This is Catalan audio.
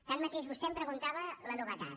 tanmateix vostè em preguntava la novetat